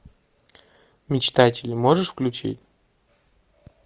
мечтатели можешь включить